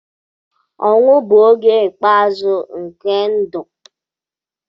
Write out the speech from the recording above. Ọnwụ bụ oge ikpeazụ nke ndụ.